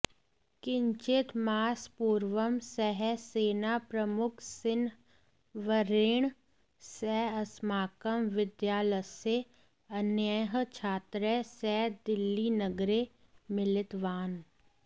किञ्चित् मासपूर्वं सः सेनाप्रमुखसिंहवर्येण सह अस्माकं विद्यालयस्य अन्यैः छात्रैः सह दिल्लिनगरे मिलितवान्